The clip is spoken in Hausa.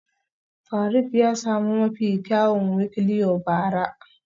Faruk ya sami mafi kyawun wikliow bara